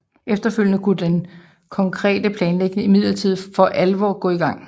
Efterfølgende kunne den konkrete planlægning imidlertid for alvor gå i gang